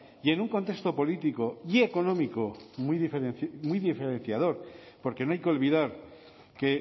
y en un contexto político y económico muy diferenciador porque no hay que olvidar que